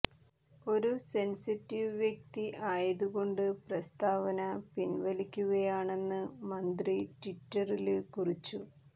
ഒരു സെന്സിറ്റീവ് വ്യക്തി ആയതുകൊണ്ട് പ്രസ്താവന പിന്വലിക്കുകയാണെന്ന് മന്ത്രി ട്വിറ്ററില് കുറിച്ചു